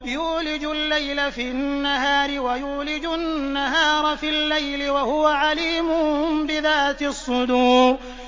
يُولِجُ اللَّيْلَ فِي النَّهَارِ وَيُولِجُ النَّهَارَ فِي اللَّيْلِ ۚ وَهُوَ عَلِيمٌ بِذَاتِ الصُّدُورِ